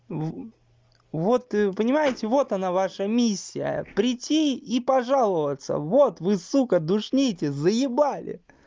вот вы понимаете вот она ваша миссия прийти и пожаловаться вот вы сука душните заебали